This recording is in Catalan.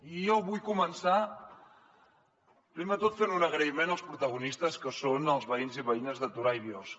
i jo vull començar primer de tot fent un agraïment als protagonistes que són els veïns i veïnes de torà i biosca